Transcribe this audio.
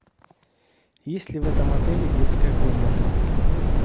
есть ли в этом отеле детская комната